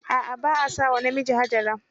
A'a. ba a sa wa namiji Hajara